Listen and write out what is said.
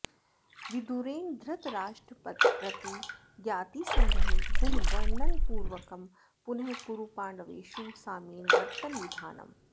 विदुरेण धृतराष्ट्रंप्रति ज्ञातिसंग्रहे गुणवर्णनपूर्वकं पुनः कुरुपाण्डवेषु साम्येन वर्तनविधानम्